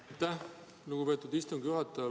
Aitäh, lugupeetud istungi juhataja!